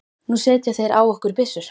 Nú setja þeir á okkur byssur!